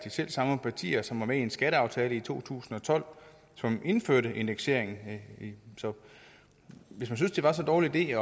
selv samme partier som var med i skatteaftalen i to tusind og tolv som indførte indekseringen så hvis man synes det var så dårlig en